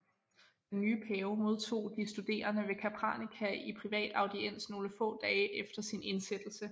Den nye pave modtog de studerende ved Capranica i privat audiens nogle få dage efter sin indsættelse